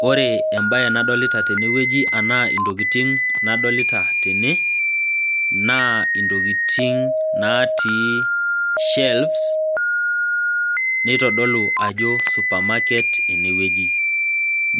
Ore embae nadolita tene wueji anaa imbaa nadolita tene naa intokitin natii shelves neitodolu ajo suparmarket ene wueji.